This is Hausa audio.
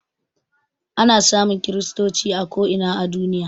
Ana samun kristoci a ko ina a duniya